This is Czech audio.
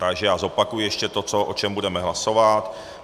Takže já zopakuji ještě to, o čem budeme hlasovat.